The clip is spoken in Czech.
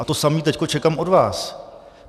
A to samé teď čekám od vás.